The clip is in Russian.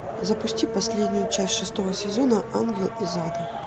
запусти последнюю часть шестого сезона ангел из ада